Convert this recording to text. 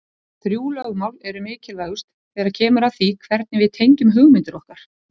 Þrjú lögmál eru mikilvægust þegar kemur að því hvernig við tengjum hugmyndir okkar.